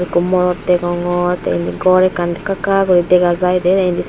ikko morot degongor tey indi gor ekkan ekka ekka guri dega jai dey indis.